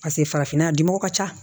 Paseke farafinna a dimɔgɔw ka ca